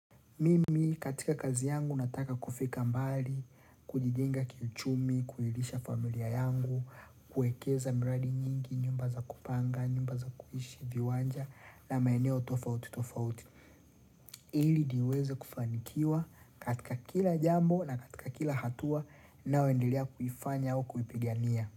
Mimi katika kazi yangu nataka kufika mbali, kujijenga kiuchumi, kuilisha familia yangu, kuwekeza miradi nyingi, nyumba za kupanga, nyumba za kuishi, viwanja, na maeneo tofauti tofauti. Ili niweze kufanikiwa katika kila jambo na katika kila hatua ninayoendelea kuifanya au kuipigania.